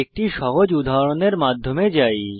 একটি সহজ উদাহরণের মাধ্যমে যাই